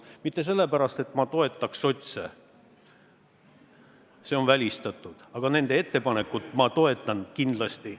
Mitte sellepärast, et ma sotse endid toetaks – see on välistatud –, aga nende ettepanekut toetan ma kindlasti.